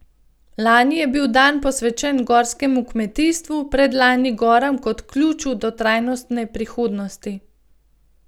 Lani je bil dan posvečen gorskemu kmetijstvu, predlani goram kot ključu do trajnostne prihodnosti.